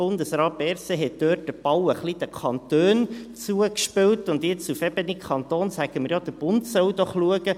Bundesrat Berset hat also dort den Ball ein bisschen den Kantonen zugespielt, und jetzt sagen wir auf Kantonsebene, der Bund solle doch schauen.